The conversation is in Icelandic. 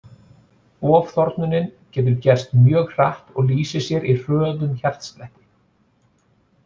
Ofþornunin getur gerst mjög hratt og lýsir sér í hröðum hjartslætti.